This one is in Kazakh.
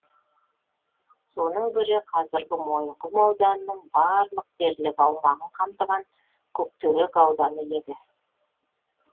соның бірі қазіргі мойынқұм ауданының барлық дерлік аумағын қамтыған көктерек ауданы еді